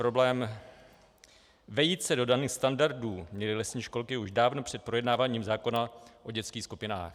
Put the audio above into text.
Problém vejít se do daných standardů měly lesní školy už dávno před projednáváním zákona o dětských skupinách.